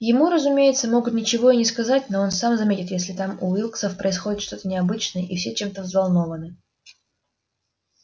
ему разумеется могут ничего и не сказать но он сам заметит если там у уилксов происходит что-то необычное и все чем-то взволнованы